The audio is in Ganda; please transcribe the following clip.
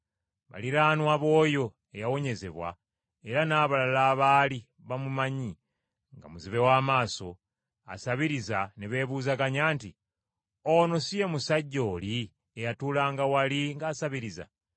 Baliraanwa b’oyo eyawonyezebwa era n’abalala abaali bamumanyi nga muzibe w’amaaso, asabiriza, ne beebuuzaganya nti, “Ono si ye musajja oli eyatuulanga wali ng’asabiriza?”